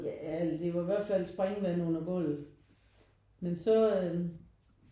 Jah eller det var i hvert fald springvandet i gulvet men så